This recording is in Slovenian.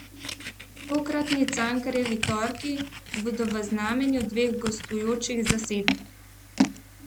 Tokratni Cankarjevi torki bodo v znamenju dveh gostujočih zasedb.